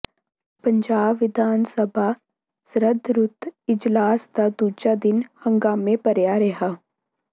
ਪੰਜਾਬ ਵਿਧਾਨ ਸਭਾ ਸਰਦ ਰੁੱਤ ਇਜਲਾਸ ਦਾ ਦੂਜਾ ਦਿਨ ਹੰਗਾਮੇ ਭਰਿਆ ਰਿਹਾ